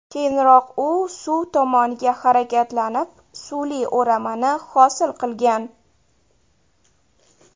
Keyinroq u suv tomonga harakatlanib, suvli o‘ramani hosil qilgan.